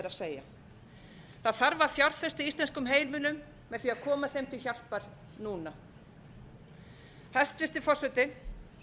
að segja það þarf að fjárfesta í íslenskum heimilum með því að koma þeim til hjálpar núna hæstvirtur forseti